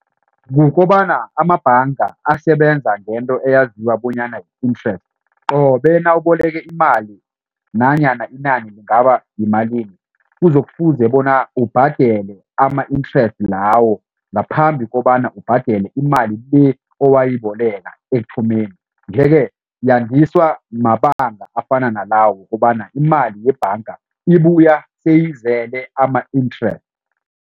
Kukobana amabhanga asebenza ngento eyaziwa bonyana yi-interest qobe nawuboleke imali nanyana inani lingaba yimalini kuzokufuze bona ubhadele ama interest lawo ngaphambi kobana ubhadele imali le owayiboleka ekuthomeni nje ke yandiswa mabanga afana nala wokobana imali yebhanga ibuya seyizele ama-interest.